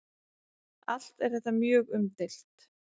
Allt er þetta mjög umdeilt.